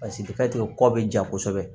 Paseke kɔ bɛ ja kosɛbɛ